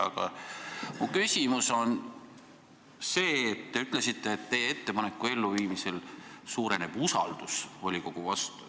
Aga te ütlesite, et teie ettepaneku elluviimise korral suureneb usaldus volikogu vastu.